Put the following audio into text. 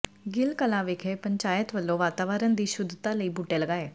ਗਿੱਲ ਕਲਾਾ ਵਿਖੇ ਪੰਚਾਇਤ ਵੱਲੋਂ ਵਾਤਾਵਰਨ ਦੀ ਸ਼ੁੱਧਤਾ ਲਈ ਬੂਟੇ ਲਗਾਏ